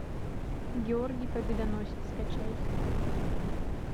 георгий победоносец скачать